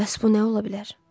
Bəs bu nə ola bilər?